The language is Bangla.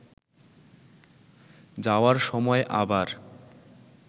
যাওয়ার সময় আবার